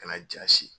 Kana jasi